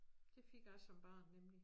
Det fik jeg som barn nemlig